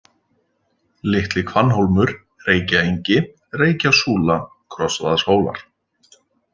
Litli-Hvannhólmur, Reykjaengi, Reykjasúla, Krossavaðshólar